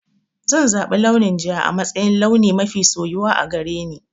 Zan zaɓi launin ja a matsayin launi mafi soyuwa a gare ni.